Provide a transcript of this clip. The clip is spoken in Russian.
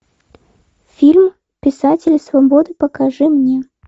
фильм писатели свободы покажи мне